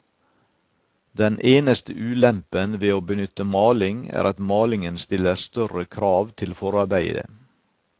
Den eneste ulempen ved å benytte maling er at malingen stiller større krav til forarbeidet.